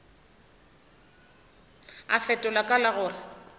a fetola ka la gore